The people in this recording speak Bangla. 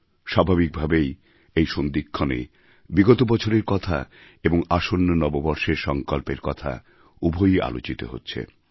স্বাভাবিকভাবেই এই সন্ধিক্ষণে বিগত বছরের কথা এবং আসন্ন নববর্ষের সঙ্কল্পের কথা উভয়ই আলোচিত হচ্ছে